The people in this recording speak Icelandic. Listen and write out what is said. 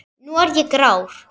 Nú er ég grár.